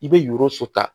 I bɛ yoro suta